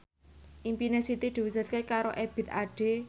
impine Siti diwujudke karo Ebith Ade